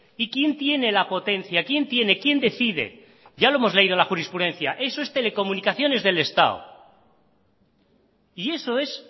y quién tiene la potencia quién tiene quién decide ya lo hemos leído en la jurisprudencia eso es telecomunicaciones del estado y eso es